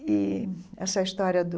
E essa história do